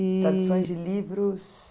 Traduções de livros?